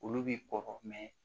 Olu bi kɔgɔ